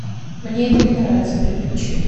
мне это не нравится переключи